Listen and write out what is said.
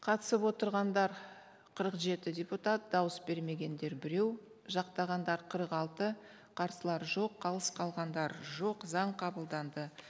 қатысып отырғандар қырық жеті депутат дауыс бермегендер біреу жақтағандар қырық алты қарсылар жоқ қалыс қалғандар жоқ заң қабылданды